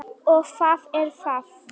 Og hvað er það?